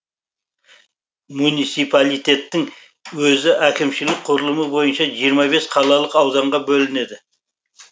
муниципалитеттің өзі әкімшілік құрылымы бойынша жиырма бес қалалық ауданға бөлінеді